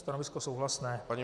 Stanovisko souhlasné.